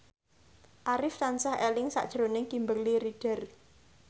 Arif tansah eling sakjroning Kimberly Ryder